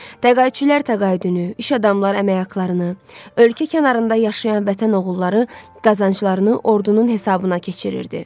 Təqaüdçülər təqaüdünü, iş adamları əmək haqlarını, ölkə kənarında yaşayan vətən oğulları qazanclarını ordunun hesabına keçirirdi.